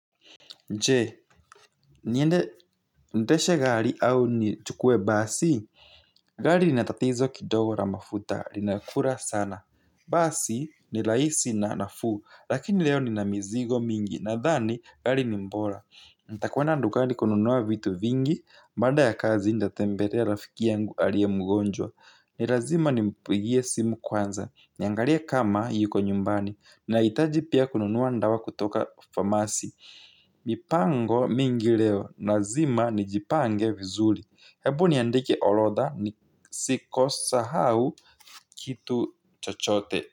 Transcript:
Je, niende ndeshe gari au nichukue basi? Gari linatatizo kidogo la mafuta, rinakura sana. Basi ni rahisi na nafuu, lakini leo nina mizigo mingi, nadhani gari ni bora. Ntakuwenda ndukari kununua vitu vingi, baada ya kazi nidatembelea rafiki yangu aliye mgonjwa. Ni lazima nimpigie simu kwanza, niangalie kama yuko nyumbani, nahitaji pia kununua ndawa kutoka famasi. Mipango mingi leo lazima nijipange vizuri. Hebu niandikie orodha ni sikosa hau kitu chochote.